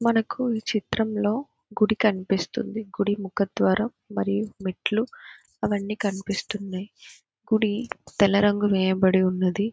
మనకు ఈ చిత్రంలో గుడి కనిపిస్తుంది కుడి ముఖద్వారం మరియు మెట్లు అవన్నీ కనిపిస్తుంది. గుడి తెల్ల రంగు వేయబడి ఉన్నది.